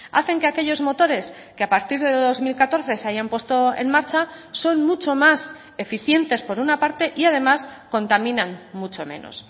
hacen que aquellos motores que a partir de dos mil catorce se hayan puesto en marcha son mucho más eficientes por una parte y además contaminan mucho menos